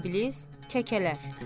İblis, kəkələlər.